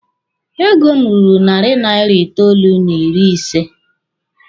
Ego m ruru narị naira itoolu n'ịrị ise.